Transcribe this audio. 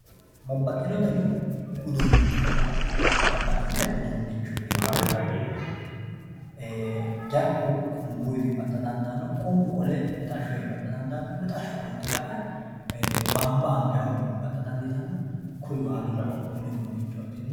babbaxxino dani uduunnicho babbaxxino dani uduunnicho yineemmohu jarku qunbuywi baxxa dandaanno qunbu qole mixashshoywi baxxa dandaanno mixashsho qolte ka"e baanba angayhuwii baxxa dandiitanno kuni baalunku mini uduunnichooti.